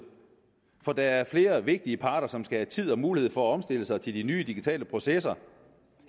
for der er flere vigtige parter som skal have tid og mulighed for at omstille sig til de nye digitale processer